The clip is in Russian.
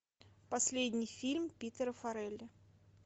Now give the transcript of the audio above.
последний фильм питера фаррелли